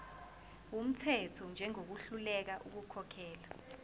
wumthetho njengohluleka ukukhokhela